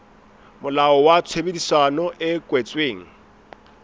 molao wa tshebedisano e kwetsweng